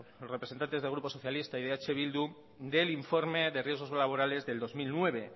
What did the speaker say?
los representantes del grupo socialista y eh bildu del informe de riesgos laborales de dos mil nueve